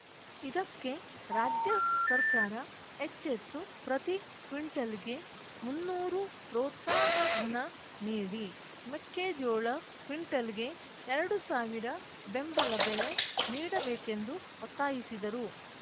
ಇದಕ್ಕೆ ರಾಜ್ಯ ಸರ್ಕಾರ ಎಚ್ಚೆತ್ತು ಪ್ರತಿ ಕ್ವಿಂಟಲ್‌ಗೆ ಮುನ್ನೂರು ಪ್ರೋತ್ಸಾಹಧನ ನೀಡಿ ಮೆಕ್ಕೆಜೋಳ ಕ್ವಿಂಟಲ್‌ಗೆ ಎರಡು ಸಾವಿರ ಬೆಂಬಲ ಬೆಲೆ ನೀಡಬೇಕೆಂದು ಒತ್ತಾಯಿಸಿದರು